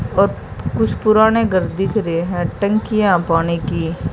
और कुछ पुराने घर दिख रहे हैं टंकियां हैं पानी की।